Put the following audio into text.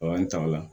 an ta ola